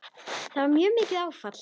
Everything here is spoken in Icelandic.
Það var mjög mikið áfall.